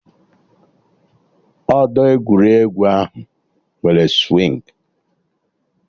Odo egwuregwu ahụ nwere swịngị